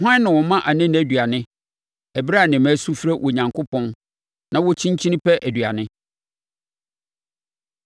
Hwan na ɔma anene aduane ɛberɛ a ne mma su frɛ Onyankopɔn na wɔkyinkyini pɛ aduane?